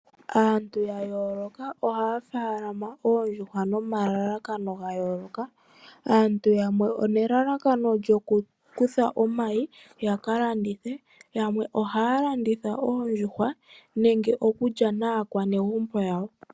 Aantu ya yoloka oha falama Oondjhuhwa nomalakano gayoloka aantu yamwe onelalakano lyo kukutha omayi yalalandithe yamwe oha landitha Oondjuhwa nenge okulya naa kwanegumbo yawo.